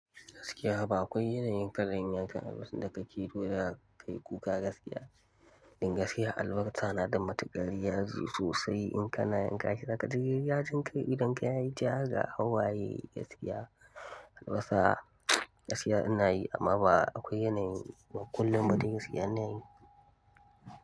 Gaskiya ba akwai yanayin ka da zan yanka albasa da ka kiɗo da ka yi kuka gaskiya. In gaskiya albasa na da matuƙar yaji sosai in ka na yanka shi zakaji yajin kai idan ka yi yi ja ga hauwaye gaskiya albasa gaskiya inayi amma ba akwai yanayin kullum ba da gaskiya anayi.